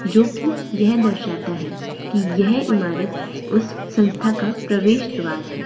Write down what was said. जो कि यह दर्शाता है कि यह इमारत उसे संस्था का प्रवेश द्वार है।